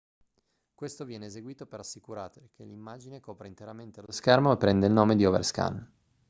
questo viene eseguito per assicurare che l'immagine copra interamente lo schermo e prende il nome di overscan